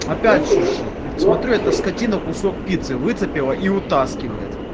опять шуршит смотрю эта скотина кусок пиццы выцепила и утаскивает